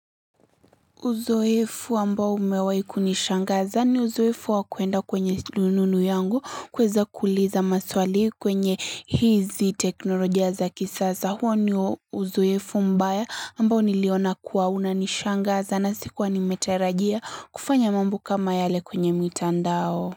Uzoefu ambao umewai kunishangaza ni uzoefu wakuenda kwenye rununu yangu kuweza kuuliza maswali kwenye hizi teknolojia za kisaza huo ni uzoefu mbaya ambao niliona kuwa unanishangaza na sikuwa nimetarajia kufanya mambo kama yale kwenye mitandao.